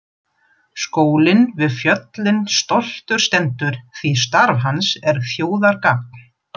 Skólinn við fjöllin stoltur stendur því starf hans er þjóðargagn.